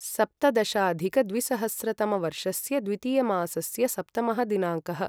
सप्तदशाधिकद्विसहस्रतमवर्षस्य द्वितीयमासस्य सप्तमः दिनाङ्कः